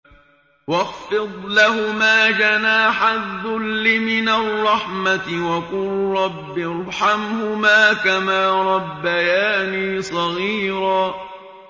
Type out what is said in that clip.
وَاخْفِضْ لَهُمَا جَنَاحَ الذُّلِّ مِنَ الرَّحْمَةِ وَقُل رَّبِّ ارْحَمْهُمَا كَمَا رَبَّيَانِي صَغِيرًا